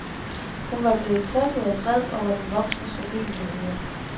Hun var blevet tosset og vred over den voksnes urimeligheder.